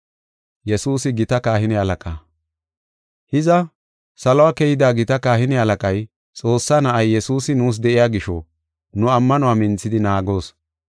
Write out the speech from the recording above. Hiza, salo keyida gita kahine halaqay, Xoossaa na7ay Yesuusi, nuus de7iya gisho, nu ammanuwa minthidi naagoos.